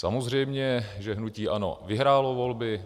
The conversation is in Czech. Samozřejmě že hnutí ANO vyhrálo volby.